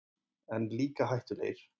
En líka hættulegir.